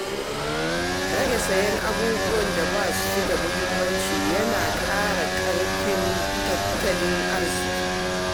Rage siyan abubuwan da ba su da muhimmanci yana ƙara ƙarfin tattalin arziƙi.